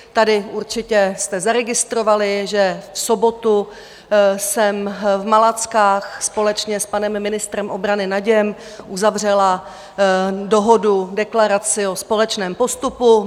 Tady určitě jste zaregistrovali, že v sobotu jsem v Malackách společně s panem ministrem obrany Naděm uzavřela dohodu, deklaraci o společném postupu.